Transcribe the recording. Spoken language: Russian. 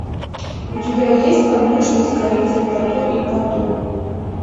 у тебя есть подмышки с корицей тату и пату